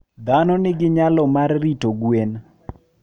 Dhano nigi nyalo mar rito gwen.